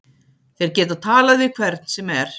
Þeir geta talað við hvern sem er.